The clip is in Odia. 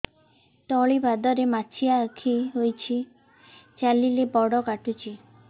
ତଳିପାଦରେ ମାଛିଆ ଖିଆ ହେଇଚି ଚାଲିଲେ ବଡ଼ କାଟୁଚି